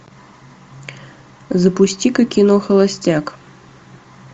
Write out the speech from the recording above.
запусти ка кино холостяк